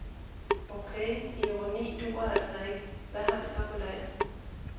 Okay, ironi duer altså ikke, hvad har vi så på lager.